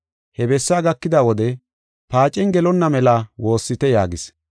He bessaa gakida wode, “Paacen gelonna mela woossite” yaagis.